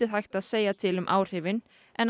hægt að segja til um áhrifin en